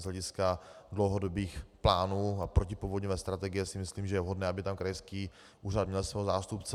Z hlediska dlouhodobých plánů a protipovodňové strategie si myslím, že je vhodné, aby tam krajský úřad měl svého zástupce.